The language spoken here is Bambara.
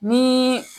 Ni